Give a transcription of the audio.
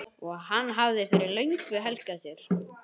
og hann hafði fyrir löngu helgað sér.